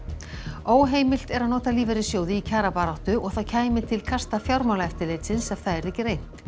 óheimilt er að nota lífeyrissjóði í kjarabaráttu og það kæmi til kasta Fjármálaeftirlitsins ef það yrði reynt